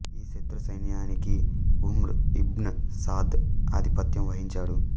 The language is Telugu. ఈ శతృ సైన్యానికి ఉమ్ర్ ఇబ్న్ సాద్ ఆధిపత్యం వహించాడు